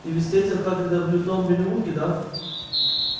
ты ведь встретил хагрида в лютном переулке да